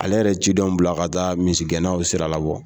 Ale yɛrɛ ye cidenw bila ka taa misigɛnnaw na sira labɔ.